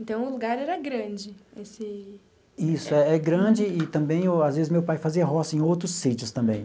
Então, o lugar era grande, esse... Isso, é é grande e também, às vezes, meu pai fazia roça em outros sítios também.